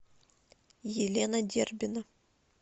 елена дербина